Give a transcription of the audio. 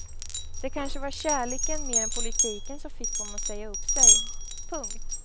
Det kanske var kärleken mer än politiken som fick honom att säga upp sig. punkt